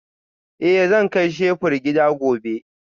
Eh zan kai shebur gida gobe